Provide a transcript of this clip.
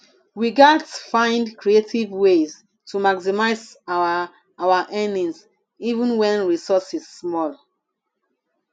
we gats find creative ways to maximize our our earnings even wen resources small